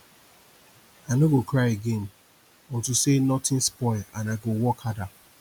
i no go cry again unto say nothing spoil and i go work harder